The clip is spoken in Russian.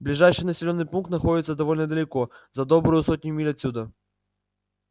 ближайший населённый пункт находится довольно далеко за добрую сотню миль отсюда